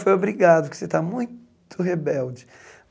Foi obrigado, porque você está muito rebelde.